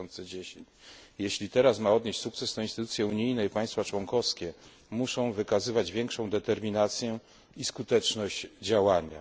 2010. Jeśli teraz ma odnieść sukces, to instytucje unijne i państwa członkowskie muszą wykazywać większą determinację i skuteczność działania.